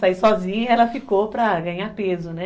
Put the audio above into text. Sair sozinha, ela ficou para ganhar peso, né?